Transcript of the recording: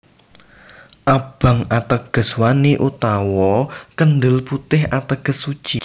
Abang ateges wani utawa kendel putih ateges suci